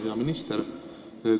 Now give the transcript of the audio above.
Hea minister!